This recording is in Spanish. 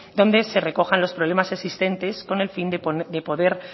donde se recojan los problemas existentes con el fin de poder